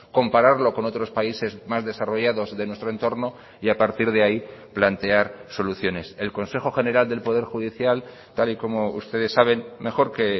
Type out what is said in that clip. compararlo con otros países más desarrollados de nuestro entorno y a partir de ahí plantear soluciones el consejo general del poder judicial tal y como ustedes saben mejor que